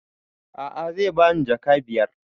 A'a zai bani jaka biyar